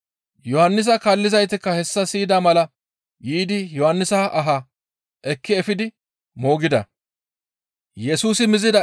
Yohannisa kaallizaytikka hessa siyida mala yiidi Yohannisa aha ekki efidi moogida.